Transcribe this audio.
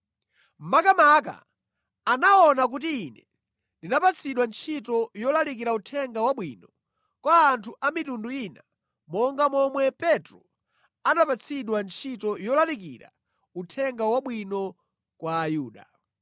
Makamaka anaona kuti ine ndinapatsidwa ntchito yolalikira Uthenga Wabwino kwa anthu a mitundu ina monga momwe Petro anapatsidwa ntchito yolalikira Uthenga Wabwino kwa Ayuda.